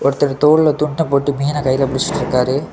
ஒருத்தர் தோல்ல துண்ட போட்டு மீன்ன கைல புடிச்சிட்டு இருக்காரு.